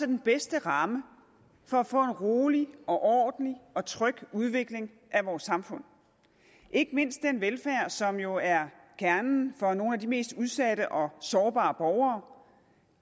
den bedste ramme for at få en rolig og ordentlig og tryg udvikling af vores samfund ikke mindst den velfærd som jo er kernen for nogle af de mest udsatte og sårbare borgere